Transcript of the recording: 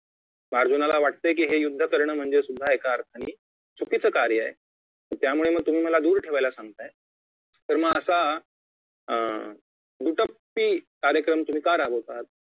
अर्जुनाला वाटतंय की हे युद्ध करण म्हणजे सुद्धा एका अर्थांनी चुकीचे कार्य आहे त्यामुळे तुम्ही मला दूर ठेवायला सांगताय तर म असा अं दुट्टप्पी कार्यक्रम तुम्ही का राबवता आहात